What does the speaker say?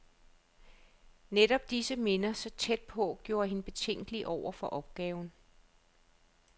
Netop disse minder, så tæt på, gjorde hende betænkelig over for opgaven.